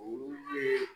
Olu ye